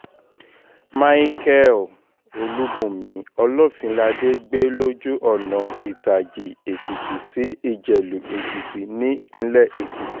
micheal olùbùnmi olófinládé gbé lójú ọ̀nà ìtàjì-èkìtì sí ìjẹ̀lù-èkìtì nípilẹ̀ èkìtì